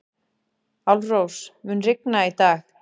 Álfrós, mun rigna í dag?